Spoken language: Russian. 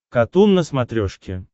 катун на смотрешке